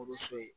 O bɛ so ye